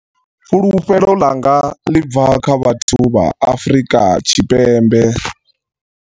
Fulufhelo ḽanga ḽi bva kha vhathu vha Afrika Tshipembe.